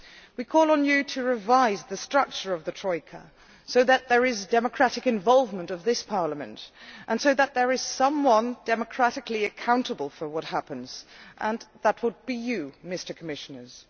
We call on you to revise the structure of the Troika so that there is democratic involvement of this Parliament, and so that there is someone democratically accountable for what happens and that would be you, Mr Commissioners.